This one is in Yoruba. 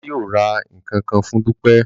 Baba yóò rà nkankan fún Dupe